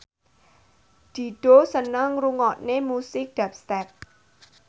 Dido seneng ngrungokne musik dubstep